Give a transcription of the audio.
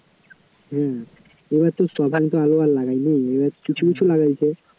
হ্যাঁ, এবারে তো সব্বাই তো আলু আর লাগাই নি, এবারে কিছু কিছু লাগাইছে